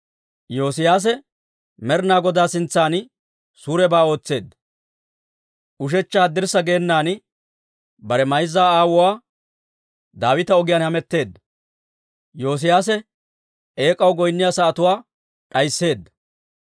Yoosiyaase Med'inaa Godaa sintsan suurebaa ootseedda; ushechcha haddirssa geenan, bare mayza aawuwaa Daawita ogiyaan hametteedda.